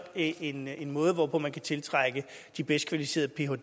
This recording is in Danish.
en en måde hvorpå man kan tiltrække de bedst kvalificerede phder